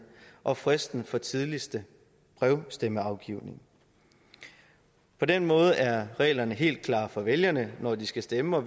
og fristen for tidligste brevstemmeafgivning på den måde er reglerne helt klare for vælgerne når de skal stemme og